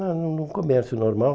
ah num num comércio normal.